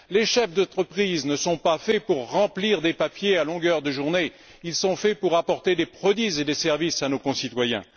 Les chefs d'entreprise ne sont pas faits pour remplir des papiers à longueur de journée, ils sont faits pour apporter des produits et des services à nos concitoyens.